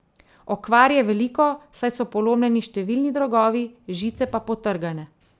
Okvar je veliko, saj so polomljeni številni drogovi, žice pa potrgane.